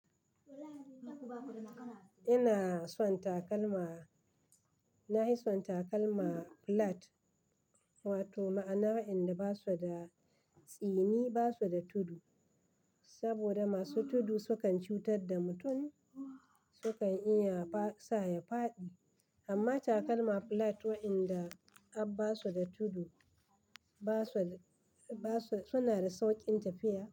Ina son takalma, na hi son takalma flat, ma to ma'ana waɗanda ba su da tsini, ba su da tudu. Sabida masu tudu sukan cutar da mutum, sukan iya sa ya faɗi. Amma takalma flat waɗanda abba su da tudu, suna da sauƙin tafiya.